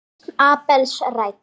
Lausn Abels rædd